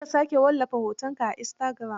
Kar ka sake wallafa hitunanka a istagiram.